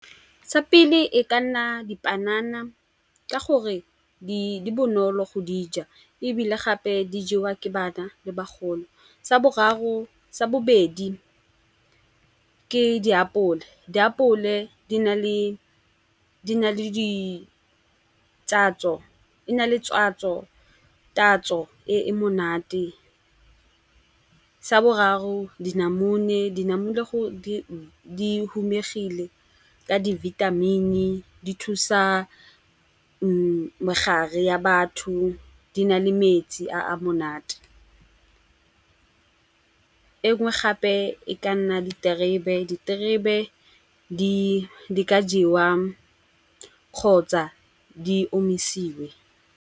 Sa pele e ka nna dipanana ka gore di bonolo go dija ebile gape di jewa ke bana le bagolo. Sa bobedi ke diapole, diapole di na le tatso e e monate. Sa boraro dinamune di humegile ka di vitamin-i, di thusa megare ya batho di na le metsi a a monate. Engwe gape e ka nna diterebe, diterebe di ka jewa kgotsa di omisitse.